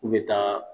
U bɛ taa